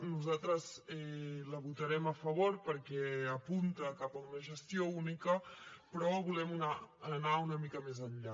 nosaltres la votarem a favor perquè apunta cap a una gestió única però volem anar una mica més enllà